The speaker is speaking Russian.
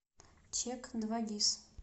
чек двагис